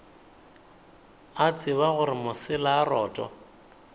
a tseba gore mosela roto